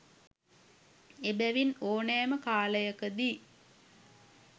එබැවින් ඕනෑම කාලයකදී